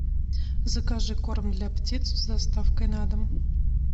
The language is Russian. закажи корм для птиц с доставкой на дом